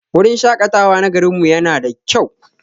Wurin shaƙatawa na garin mu yana da kyau.